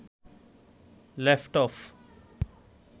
laptop